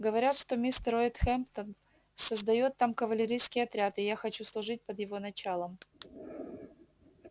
говорят что мистер уэйд хэмптон создаёт там кавалерийский отряд и я хочу служить под его началом